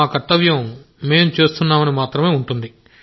మా కర్తవ్యం మేం చేస్తున్నామని మాత్రమే ఉంటుంది